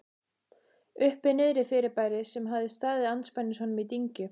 Uppi-Niðri-fyrirbæri, sem hafði staðið andspænis honum í dyngju